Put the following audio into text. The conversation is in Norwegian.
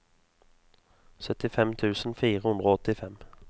syttifem tusen fire hundre og åttifem